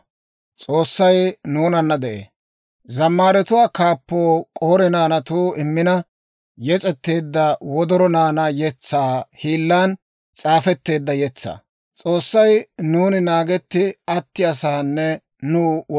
S'oossay nuuni naagetti attiyaa saanne nuw wolk'k'aa. Nuuna metuu gakkiyaa wode, maaddanaw I ubbaa gede matan de'ee.